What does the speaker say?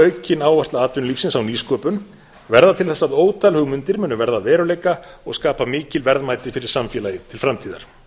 aukin áhersla atvinnulífsins á nýsköpun verða til þess að ótal hugmyndir munu verða að veruleika og skapa mikil verðmæti fyrir samfélagið til framtíðar